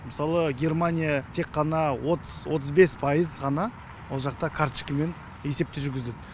мысалы германия тек қана отыз отыз бес пайыз ғана ол жақта карточкамен есепті жүргізіледі